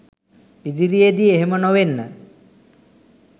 ඉදිරියේදී එහෙම නොවෙන්න